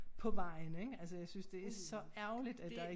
På vejen ik altså jeg synes det så ærgerligt at der ik